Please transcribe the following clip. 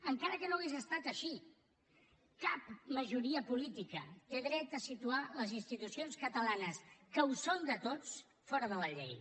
encara que no hagués estat així cap majoria política té dret a situar les institucions catalanes que ho són de tots fora de la llei